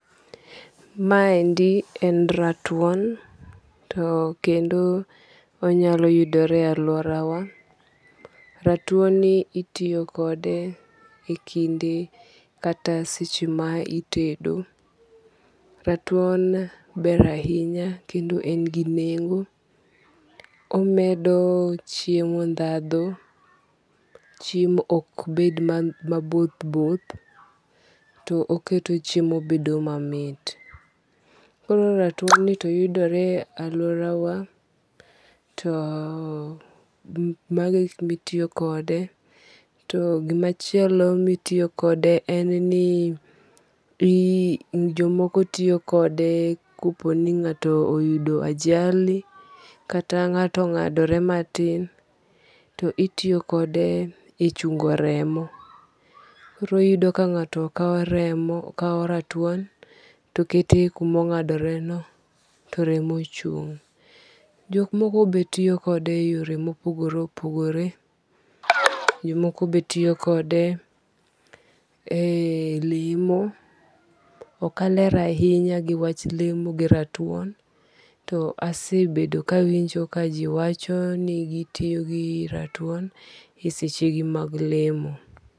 Ma endi en ratuon to kendo onyalo yudore e aluora wa. Ratuon ni itiyo kode e kinde kata seche ma itedo. Ratuon ber ahinya kendo en gi nengo. Omedo chiemo dhadho. Chiemo ok bed maboth both. To oketo chiemo bedo mamit. Koro ratuon ni to yudore e aluora wa to mago e gik mitiyo kode. To gima chielo mitiyo kode en ni jomoko tiyokode kopo ni ng'ato oyudo ajali kata ng'ato ong'adore matin to itiyo kode e chungo remo. Koro iyudo ka ng'ato kaw ratuon to kete kumo ng'adore no to remo chung'. Jok moko be tiyo kode e yore mopogore opogore. Jomoko be tiyo kode e lemo. Ok aler ahinya gi wach lemo gi ratuon, to asebedo kawinjo ka jiwacho ni gitiyo gi ratuon e seche gi mag lemo.